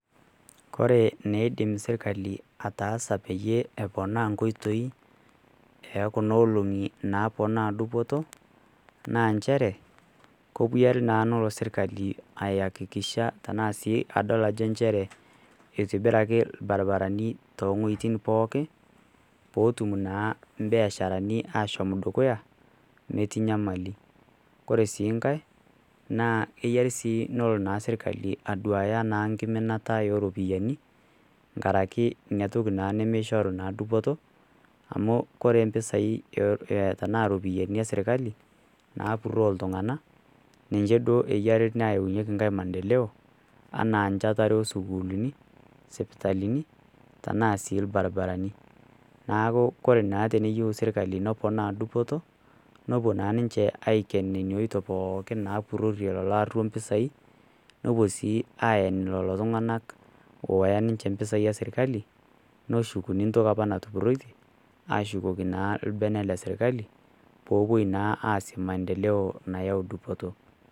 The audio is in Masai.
Ore neidim serkali ataasa peyie eponaa inkoitoi e kuna olong'i naponaa dupoto, naa nchere kepuyare naa nepuo serkali aihakikisha adol sii tanaa sii nchere eitibiraki ilbaribarani too inwuetin pooki, pootum naa imbiasharani ashomo dukuya metii nyamali. Ore sii nkai, naa eyare sii nelo naa serkali aduaya naa nkiminata o iropiani nkaraki Ina toki naa nemeishoru naa dupoto, amu ore impesai tanaa iropiani e sirkali, naapuroo iltung'ana ninye duo eyare neyaunyeki mandeloo anaa nchatare o sukuulini, sipitalini, tanaa sii ilbaribarani. Naaku Kore sii teneyiou serkali neponaa dupoto nepuo naa ninche aiken Nena oitoi pooki naapurorie lelo aruok impesai, nepuo sii aen lelo tung'ana oyaa ninche isentei e serkali, neshukuni entoki opa ntoki natupuroitie, ashukoki naa lbene le sirkali peepuoi naa aas maendeloo nayau dupoto.